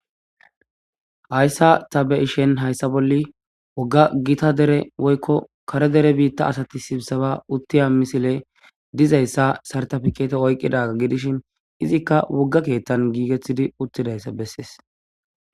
hayssa ta be7ishen hayssa bolli wogga gita dere woykko kare dere biitta asati sibsaba uttiya misile dizayssa sartafikete oykqidaga gidishin izikka wogga keettan giigethidi uttidayssa bessees.